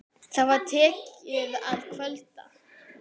Það var tekið að kvölda.